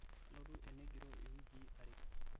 kalotu enegiro iwiki are